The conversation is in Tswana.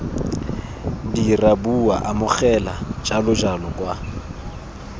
dira bua amogela jalojalo kwa